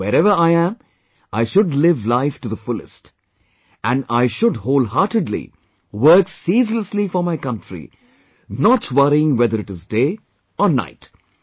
Now, wherever I am, I should live life to the fullest and I should wholeheartedly work ceaselessly for my country, not worrying whether it is day, or night